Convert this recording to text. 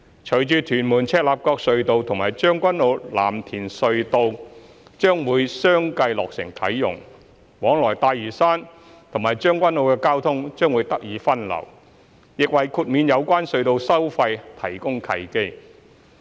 隨着屯門―赤鱲角隧道及將軍澳―藍田隧道將會相繼落成啟用，往來大嶼山和將軍澳的交通將會得以分流，亦為豁免有關隧道收費提供契機。